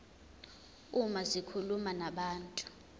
uma zikhuluma nabantu